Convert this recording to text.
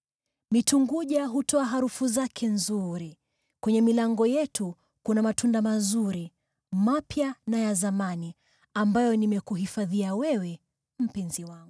Mitunguja hutoa harufu zake nzuri, kwenye milango yetu kuna matunda mazuri, mapya na ya zamani, ambayo nimekuhifadhia wewe, mpenzi wangu.